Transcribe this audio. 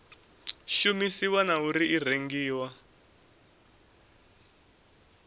shumisiwa na uri i rengiwa